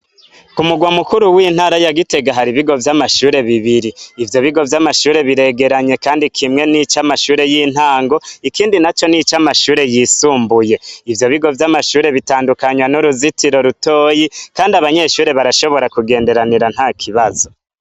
K'umurwa mukuru w'intara ya Gitega hari ibigo vy'amashuri bibiri, ivyo bigo vy'amashuri biregeranye kandi kimwe nicamashure y'intango , ikindi naco nicamashuri yisumbuye. Ivyo bigo vy'amashuri bitandukanwa nuruzitiro rutoya kandi abanyeshure barashobora kugenderanira ntakibazo.